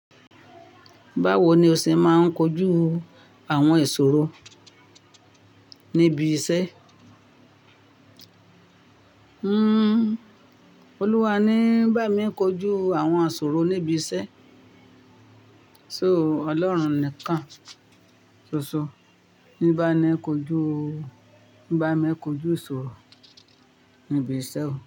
Báwo ni o ṣe máa ń kojú àwọn ìṣòro níbi iṣẹ́? Hmmm, Olúwa ní bá mi kojú àwọn sòro níbi iṣẹ́. So Ọlọ́run nìkan. Sooso. Bá mi kojú, bá mi kojú ìṣòro níbi iṣẹ́ o.